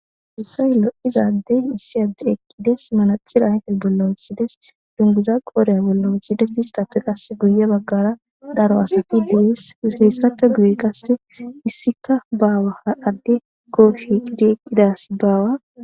Hayssan lo'iza addey issi addey eqqides manacxire ayiffe bolla woththides dunguzza qodhdhe bolla woththides istappe qase guye baggara daro asati deesi hessappe guye qase isska bawa addeko shiqqidi eqqida asi baawa.